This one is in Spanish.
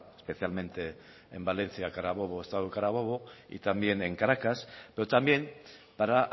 especialmente en valencia carabobo estado de carabobo y también en caracas pero también para